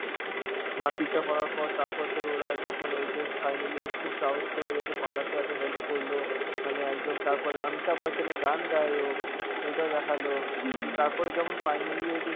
মারপিটটা করার পর তারপর তোর ওরা যখন ওই যে finally খুব সাহস করে ওদেরকে পালাতে এত help করল, মানে একদম তারপরে অমিতাভ বচ্চনের গান গায় ও, ওইটা দেখালো, দিয়ে তারপরে যখন finally ওই যে